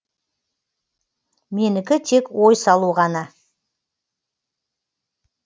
менікі тек ой салу ғана